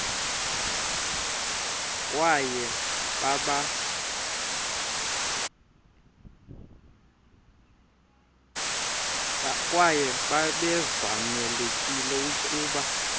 kwaye babevamelekile ukuba